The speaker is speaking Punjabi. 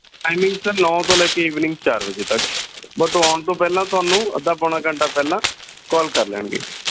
timing ਸਰ ਨੋ ਤੋਂ ਲੈ ਕੇ evening ਚਾਰ ਵਜੇ ਤੱਕ ਬਸ ਆਉਣ ਤੋਂ ਪਹਿਲਾ ਤੁਹਾਨੂੰ ਅੱਧਾ ਪੋਣਾ ਘੰਟਾ ਪਹਿਲਾ call ਕਰ ਲੈਣਗੇ।